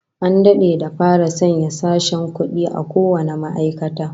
An dade da fara sanya sashen kudi a kowane ma'aikata